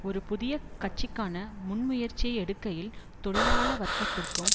ஒரு புதிய கட்சிக்கான முன்முயற்சியை எடுக்கையில் தொழிலாள வர்க்கத்திற்கும்